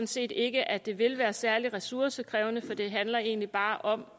set ikke at det vil være særlig ressourcekrævende for det handler egentlig bare om